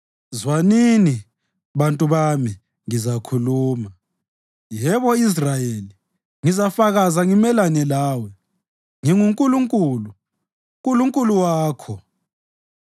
“Zwanini, bantu bami, ngizakhuluma; yebo Israyeli, ngizafakaza ngimelane lawe; nginguNkulunkulu, Nkulunkulu wakho